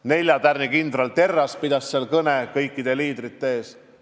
Nelja tärniga kindral Terras pidas seal kõne kõikide liidrite ees.